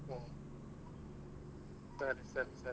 ಹ್ಮ್ ಸರಿ ಸರಿ